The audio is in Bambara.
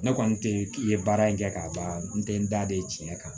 Ne kɔni tɛ k'i ye baara in kɛ ka ban n tɛ n da de tiɲɛ kan